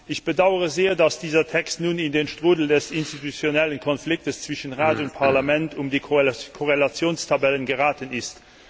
Ich bedaure sehr, dass dieser Text nun in den Strudel des institutionellen Konflikts zwischen Rat und Parlament um die Korrelationstabellen geraten ist.